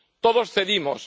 Todos cedimos.